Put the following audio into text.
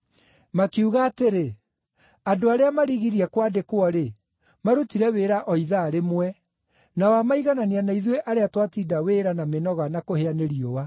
Makiuga atĩrĩ, ‘Andũ arĩa marigirie kwandĩkwo-rĩ, marutire wĩra o ithaa rĩmwe, na wamaiganania na ithuĩ arĩa twatinda wĩra na mĩnoga na kũhĩa nĩ riũa.’